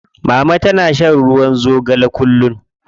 Mama tana shan ruwa zogale kullum.